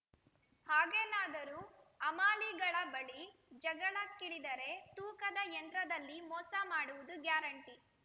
ಹಾಗೇನಾದರೂ ಹಮಾಲಿಗಳ ಬಳಿ ಜಗಳಕ್ಕಿಳಿದರೆ ತೂಕದ ಯಂತ್ರದಲ್ಲಿ ಮೋಸ ಮಾಡುವುದು ಗ್ಯಾರಂಟಿ